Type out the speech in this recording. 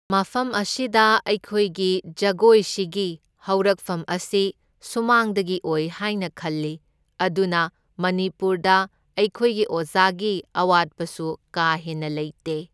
ꯃꯐꯝ ꯑꯁꯤꯗ ꯑꯩꯈꯣꯏꯒꯤ ꯖꯒꯣꯏꯁꯤꯒꯤ ꯍꯧꯔꯛꯐꯝ ꯑꯁꯤ ꯁꯨꯃꯥꯡꯗꯒꯤ ꯑꯣꯏ ꯍꯥꯏꯅ ꯈꯜꯂꯤ, ꯑꯗꯨꯅ ꯃꯅꯤꯄꯨꯔꯗ ꯑꯩꯈꯣꯏꯒꯤ ꯑꯣꯖꯥꯒꯤ ꯑꯋꯥꯠꯄꯁꯨ ꯀꯥ ꯍꯦꯟꯅ ꯂꯩꯇꯦ꯫